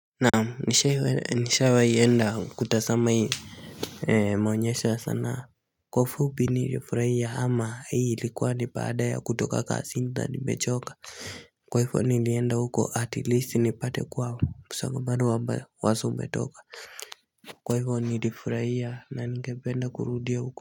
Naam nishawaienda kutazama hii maonyesho ya sanaa Kwa ufupi nilifurahia ama hii likuwa ni baada ya kutoka kasini ta nibechoka Kwa hifo nilienda huko atilisi nipate kwa msongamano wa mawaso umetoka Kwa hivo nilifurahia na ningependa kurudia huko.